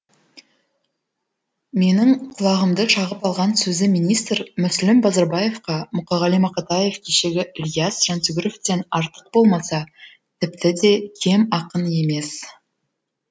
менің құлағымды шағып алған сөзі министр мүслім базарбаевқа мұқағали мақатаев кешегі ілияс жансүгіровтен артық болмаса тіпті де кем ақын емес